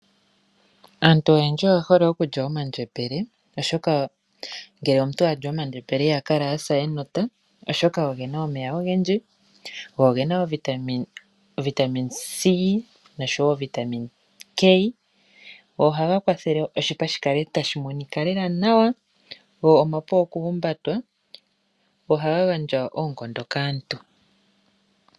Aantu oyendji oye hole okulya omandjembele oshoka ngele omuntu ali omandjembele iha kala asa enota oshoka ogena omeya ogendji go ogena o vitamin c noshowo o vitamin k. Ohaga kwathele oshipa shika tashi monika lela nawa go omapu okuhumbatwa, ohaga gandja oonkondo kaantu.